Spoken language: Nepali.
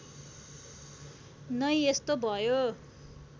नै यस्तो भयो